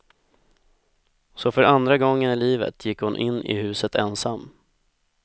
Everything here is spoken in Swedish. Så för andra gången i livet gick hon in i huset ensam.